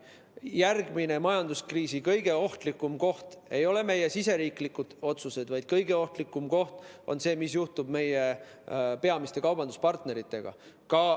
Majanduskriisi järgmine kõige ohtlikum koht ei ole meie riigisisesed otsused, vaid kõige ohtlikum koht on see, mis juhtub meie peamiste kaubanduspartneritega.